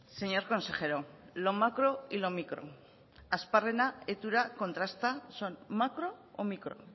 señor consejero lo macro y lo micro asparrena etura kontrasta son macro o micro